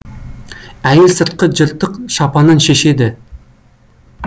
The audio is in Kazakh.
әйел сыртқы жыртық шапанын шешеді